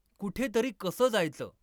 कुठेतरी कसं जायचं?